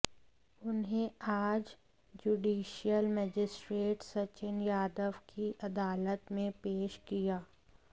उन्हें आज judicial magistrate Sachin Yadav की अदालत में पेश किया